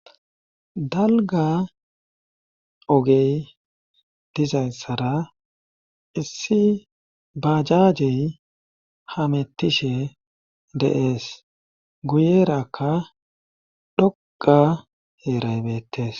dalga ogey dizayssara issi bajajey hamettishe deees guyerakka dhoqa heeraybettes